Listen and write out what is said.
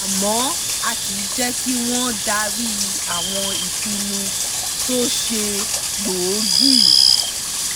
àmọ́ a kì í jẹ́ kí wọ́n darí àwọn ìpinnu tó ṣe gbòógì